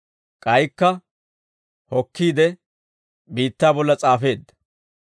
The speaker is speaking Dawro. K'aykka hokkiide, biittaa bolla s'aafeedda.